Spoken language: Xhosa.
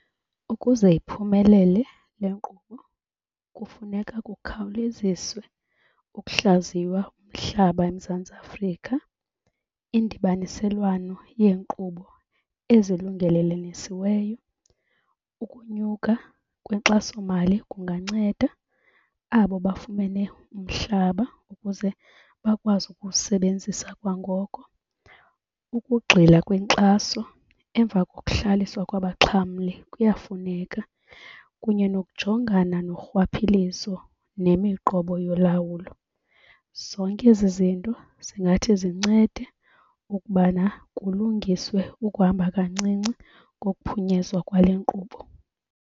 Ukuze iphumelele le nkqubo kufuneka kukhawuleziswe ukuhlaziywa umhlaba eMzantsi Afrika. Indibaniselwano yeenkqubo ezilungelelenisiweyo, ukunyuka kwenkxaso mali kunganceda abo bafumene umhlaba ukuze bakwazi ukuwusebenzisa kwangoko. Ukugxila kwenkxaso emva kokuhlaliswa kwabaxhamli kuyafuneka kunye nokujongana norhwaphilizo nemiqobo yolawulo. Zonke ezi zinto zingathi zincede ukubana kulungiswe ukuhamba kancinci kokuphunyezwa kwale nkqubo.